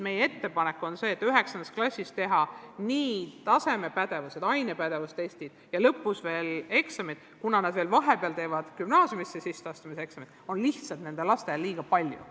Meie ettepanek on see, et kuna 9. klassis tehakse nii tasemetööd, ainepädevustestid kui ka lõpueksamid ja vahepeal veel gümnaasiumi sisseastumiseksamid, siis seda on lastele lihtsalt liiga palju.